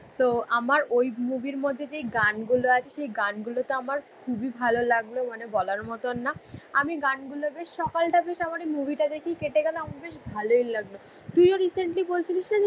তো আমার ওই মুভির মধ্যে যে গানগুলো আছে, সেই গানগুলো তো আমার খুবই ভালো লাগলো. মানে বলার মতন না. আমি গানগুলো বেশ সকালটা বেশ আমার এই মুভিটা দেখেই কেটে গেল. আমার বেশ ভালোই লাগলো। তুইও রিসেন্টলি বলছিলিস না যে